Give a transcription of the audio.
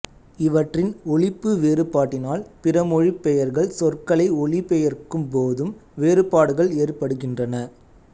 இவற்றின் ஒலிப்பு வேறுபாட்டினால் பிற மொழிப் பெயர்கள் சொற்களை ஒலிபெயர்க்கும் போதும் வேறுபாடுகள் ஏற்படுகின்றன